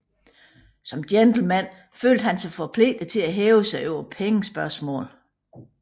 Som gentleman følte han sig forpligtet til at hæve sig over pengespørgsmål